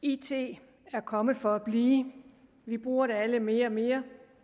it er kommet for at blive vi bruger det alle mere og mere